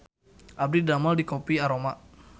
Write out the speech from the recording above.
Abdi didamel di Kopi Aroma